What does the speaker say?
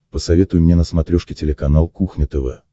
посоветуй мне на смотрешке телеканал кухня тв